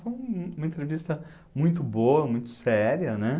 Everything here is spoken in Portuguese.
Foi um uma entrevista muito boa, muito séria, né?